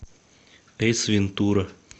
эйс вентура